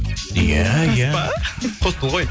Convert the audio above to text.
иә иә рас па хостел ғой